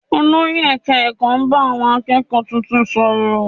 Olórí ẹ̀ka ẹ̀kọ́ bá àwọn akẹ́kọ̀ọ́ tuntun sọ̀rọ̀